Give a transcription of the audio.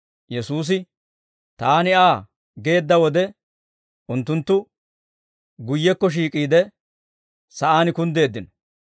Yesuusi, «Taani Aa» geedda wode, unttunttu guyyekko shiik'iide, sa'aan kunddeeddino.